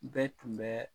Bɛɛ tun bɛ